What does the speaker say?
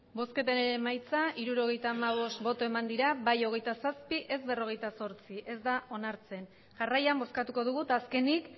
emandako botoak hirurogeita hamabost bai hogeita zazpi ez berrogeita zortzi ez da onartzen jarraian bozkatuko dugu eta azkenik